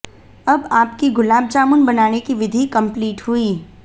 अब आपकी गुलाब जामुन बनाने की विधि कम्प्लीट हुई